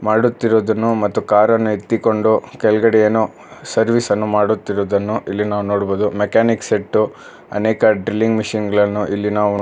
ಅಡುತ್ತಿರುವುದನ್ನು ಮತ್ತು ಕಾರನ್ನು ಎತ್ತಿಕೊಂಡು ಕೆಳಗಡೆ ಏನೋ ಸರ್ವಿಸ್ ಅನ್ನು ಮಾಡುತ್ತಿರುದನ್ನು ಇಲ್ಲಿ ನಾವ ನೋಡ್ಬೊದು ಮೆಕ್ಯಾನಿಕ್ ಸೆಟ್ಟು ಅನೇಕ ಡ್ರಿಲ್ಲಿಂಗ ಮಷೀನ್ ಗಳನ್ನು ಇಲ್ಲಿ ನಾವು--